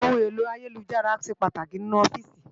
Óhún éló àyélújárà ṣé pàtáki ninú òfìsí